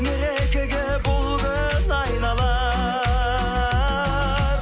мерекеге бұл күн айналар